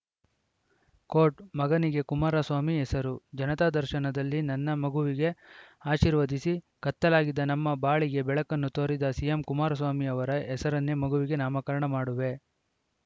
court ಮಗನಿಗೆ ಕುಮಾರಸ್ವಾಮಿ ಹೆಸರು ಜನತಾ ದರ್ಶನದಲ್ಲಿ ನನ್ನ ಮಗುವಿಗೆ ಆಶೀರ್ವದಿಸಿ ಕತ್ತಲಾಗಿದ್ದ ನಮ್ಮ ಬಾಳಿಗೆ ಬೆಳಕನ್ನು ತೋರಿದ ಸಿಎಂ ಕುಮಾರಸ್ವಾಮಿ ಅವರ ಹೆಸರನ್ನೇ ಮಗುವಿಗೆ ನಾಮಕರಣ ಮಾಡುವೆ